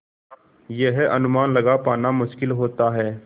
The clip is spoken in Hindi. यह अनुमान लगा पाना मुश्किल होता है